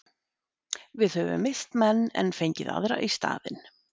Við höfum misst menn en fengið aðra í staðinn.